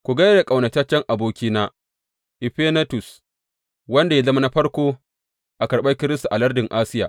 Ku gai da ƙaunataccen abokina Efenetus, wanda ya zama na farko a karɓar Kiristi a lardin Asiya.